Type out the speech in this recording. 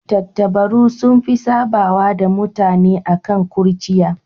Tattabaru sun fi sabawa da mutane akan kurciya.